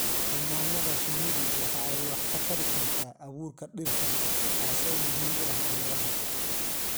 Xannaanada shinnidu waxa ay wax ka tari kartaa abuurka dhirta, taas oo muhiim u ah beeraha.